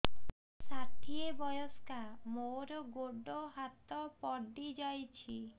ମୁଁ ଷାଠିଏ ବୟସ୍କା ମୋର ଗୋଡ ହାତ ପଡିଯାଇଛି